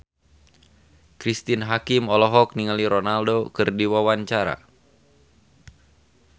Cristine Hakim olohok ningali Ronaldo keur diwawancara